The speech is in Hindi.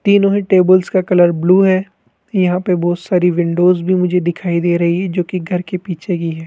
तीनों ही टेबल्स का कलर ब्लू है यहां पे बहोत सारी विंडोज भी मुझे दिखाई दे रही जो कि घर के पीछे की है।